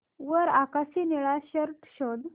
वर आकाशी निळा शर्ट शोध